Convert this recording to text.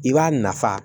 I b'a nafa